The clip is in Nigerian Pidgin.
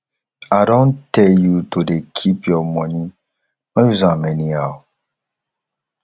i don tell you to dey keep your money no use am anyhow